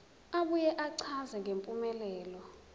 abuye achaze ngempumelelo